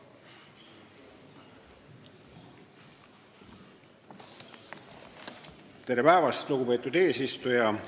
Tere päevast, lugupeetud eesistuja!